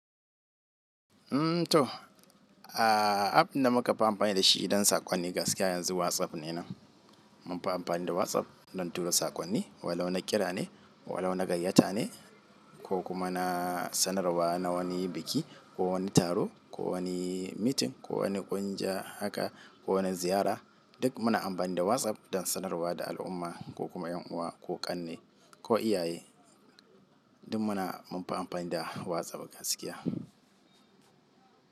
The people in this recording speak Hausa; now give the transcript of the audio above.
Mm to, a app da muka fi amfani da shi idan saƙonni gaskiya yanzu WhatsApp ne nan. Mun fi amfani da WhatsApp don tura saƙonni, walau na kira ne, walau na gayyata ne ko kuma na sanarwa na wani biki ko wani taro ko wani meeting ko wani ƙungiya haka ko wani ziyara. Duk muna amfani da WhatsApp don sanarwa da al'umma ko kuma ƴan uwa ko ƙanne ko iyaye. Duk muna munfi amfani da WhatsApp gaskiya.